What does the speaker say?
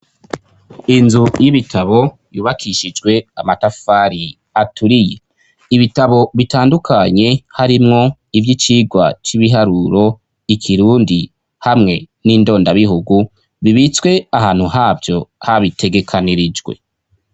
Inzu y'ibitabo yubakishijwe amatafari aturiye, ibitabo bitandukanye harimwo ivy'icigwa c'ibiharuro, ikirundi hamwe n'indondabihugu, bibitswe ahantu havyo habitegekanirijwe.